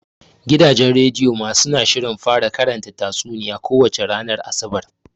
Gidajen rediyo ma suna shirin fara karanta tatsuniya ko wace ranar Asabar.